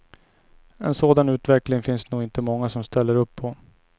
En sådan utveckling finns det nog inte många som ställer upp på.